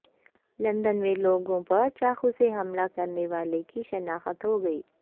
London میں لوگوں پر چاقو سے حملہ کرنے والے کی شناخت ہوگئی